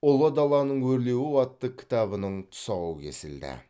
ұлы даланың өрлеуі атты кітабының тұсауы кесілді